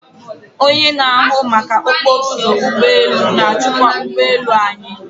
Onye na-ahụ maka okporo ụzọ ụgbọ elu na-achịkwa ụgbọ elu anyị.